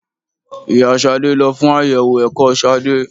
Ìyá Ṣadé lo fún àyẹ̀wò ẹ̀kọ́ Ṣadé.